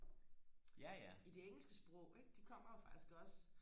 i det engelske sprog ikke de kommer jo faktisk også